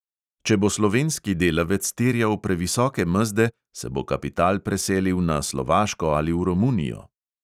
Če bo slovenski delavec terjal previsoke mezde, se bo kapital preselil na slovaško ali v romunijo.